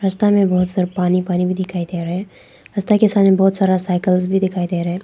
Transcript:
रास्ता में बहुत सारे पानी पानी भी दिखाई दे रहा है। रास्ता के सामने बहुत सारा साइकिल्स भी दिखाई दे रहा है।